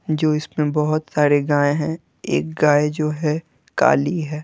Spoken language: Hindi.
जो इसमें बहुत सारे गायें हैं एक गाय जो है काली है।